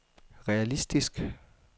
realistisk